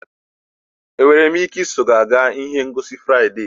Enwere m ike iso gị gaa ihe ngosi Fraịde?